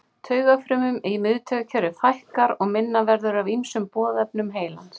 Taugafrumum í miðtaugakerfi fækkar og minna verður af ýmsum boðefnum heilans.